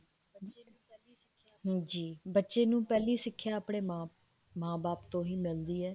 ਹਾਂਜੀ ਬੱਚੇ ਨੂੰ ਪਹਿਲੀ ਸਿੱਖਿਆ ਆਪਣੇ ਮਾਂ ਬਾਪ ਤੋਂ ਹੀ ਮਿਲਦੀ ਹੈ